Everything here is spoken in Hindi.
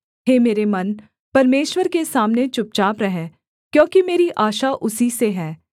हे मेरे मन परमेश्वर के सामने चुपचाप रह क्योंकि मेरी आशा उसी से है